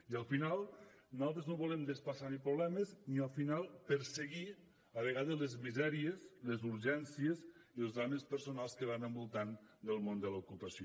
i al final nosaltres no volem ni desplaçar problemes ni al final perseguir a vegades les misèries les urgències i els drames personals que van envoltant el món de l’ocupació